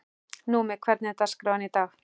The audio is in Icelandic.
Númi, hvernig er dagskráin í dag?